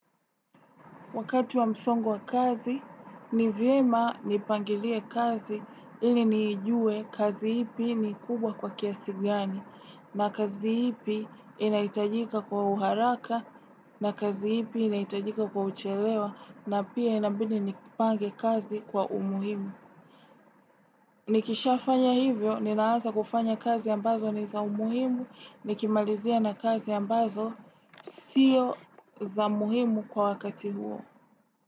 Wakati wa msongo wa kazi, ni vyema nipangilie kazi ili nijue kazi ipi ni kubwa kwa kiasi gani, na kazi ipi inahitajika kwa uharaka, na kazi ipi inahitajika kwa uchelewa, na pia inabidi nipange kazi kwa umuhimu. Nikishafanya hivyo, ninaanza kufanya kazi ambazo ni za umuhimu, nikimalizia na kazi ambazo sio za muhimu kwa wakati huo.